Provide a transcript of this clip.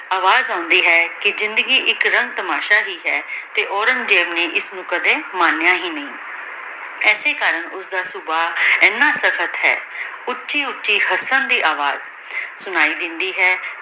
ਅਵਾਜ਼ ਆਉਂਦੀ ਹੈ ਕੀ ਜ਼ਿੰਦਗੀ ਏਇਕ ਰੰਗ ਤਮਾਸ਼ਾ ਹੀ ਹੈ ਤੇ ਔਰ੍ਨੇਗ੍ਜ਼ੇਬ ਨੇ ਏਸਨੂ ਕਦੀ ਮਾਨ੍ਯ ਹੀ ਨਹੀ ਏਸੀ ਕਰਨ ਉਸਦਾ ਸਬਾਹ ਏਨਾ ਕਥਨ ਹੈ ਓਨ੍ਚੀ ਓਨ੍ਚੀ ਹਸਨ ਦੀ ਅਵਾਜ਼ ਸੁਨਾਈ ਦੇਂਦੀ ਹੈ